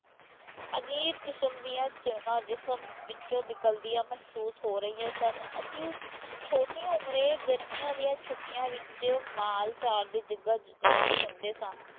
ਅਜੀਬ ਕਿਸਮ ਦੀਆਂ ਚਿਣਗਾਂ ਜਿਸਮ ਵਿਚੋਂ ਨਿਕਲਦੀਆਂ ਮਹਿਸੂਸ ਹੋ ਰਹੀਆਂ ਸਨ, ਅਸੀਂ ਛੋਟੀ ਉਮਰੇ ਗਰਮੀਆਂ ਦੀਆਂ ਛੁੱਟੀਆਂ ਵਿਚ ਮਾਲ ਚਾਰਦੇ ਜੱਗਾ ਗਾਉਂਦੇ ਹੁੰਦੇ ਸਾਂ।